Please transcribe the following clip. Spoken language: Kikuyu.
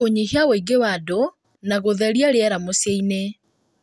kũnyihia ũingĩ wa andũ na gũtheria rĩera mũciĩ-inĩ,